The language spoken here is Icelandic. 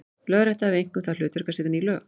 Lögrétta hafði einkum það hlutverk að setja ný lög.